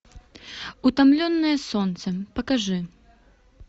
утомленные солнцем покажи